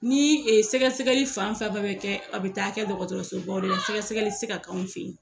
Ni sɛgɛsɛgɛli fan fɛn bɛɛ bɛ a bɛ taa kɛ dɔgɔtɔrɔso baw de la sɛgɛsɛgɛli tɛ se ka k'an fɛ yen.